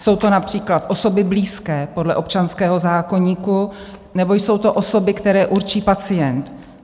Jsou to například osoby blízké podle občanského zákoníku nebo to jsou osoby, které určí pacient.